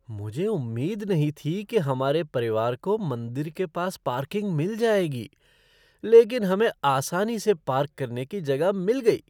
मुझे उम्मीद नहीं थी कि हमारे परिवार को मंदिर के पास पार्किंग मिल जाएगी, लेकिन हमें आसानी से पार्क करने की जगह मिल गई।